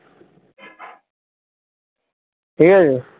ঠিক আছে